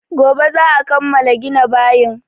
Gobe za a kammala gina bayin.